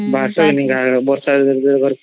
ବାହରିତେ ନାଇ ଗାଁ ରୁ ବର୍ଷା ଦିନ ରେ